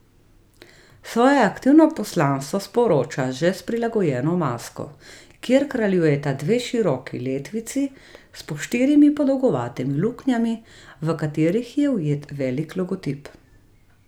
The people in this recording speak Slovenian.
Svoje aktivno poslanstvo sporoča že s prilagojeno masko, kjer kraljujeta dve široki letvici s po štirimi podolgovatimi luknjami, v katerih je ujet velik logotip.